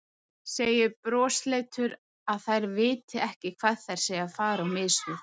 Segir brosleitur að þær viti ekki hvað þær séu að fara á mis við.